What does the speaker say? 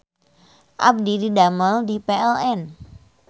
Abdi didamel di PLN